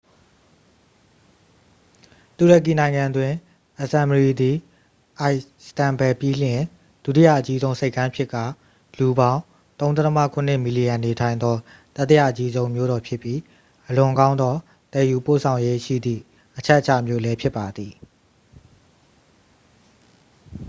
တူရကီနိုင်ငံတွင် အဇမ်မရီ သည်အိုင်စတန်ဘဲလ် ပြီးလျှင် ဒုတိယအကြီးဆုံးဆိပ်ကမ်းဖြစ်ကာ လူပေါင်း 3.7 မီလီယံနေထိုင်သော တတိယအကြီးဆုံးမြို့တော်ဖြစ်ပြီး အလွန်ကောင်းသောသယ်ယူပို့ဆောင်ရေးရှိသည့် အချက်အခြာမြို့လည်းဖြစ်ပါသည်